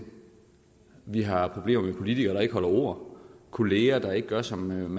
vi har problemer med politikere der ikke holder ord kolleger der ikke gør som